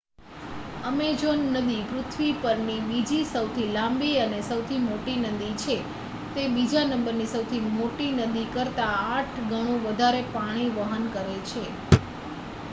Amazon નદી પૃથ્વી પરની બીજી સૌથી લાંબી અને સૌથી મોટી નદી છે તે બીજા નંબરની સૌથી મોટી નદી કરતાં 8 ગણું વધારે પાણી વહન કરે છે